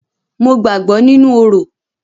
Mo gbàgbọ́ nínú orò.